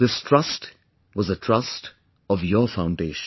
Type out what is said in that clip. This trust was the trust of your foundation